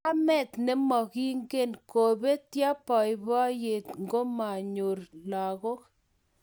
Kamet nemoingen kobetyo boiboiyet ngomanyor lagok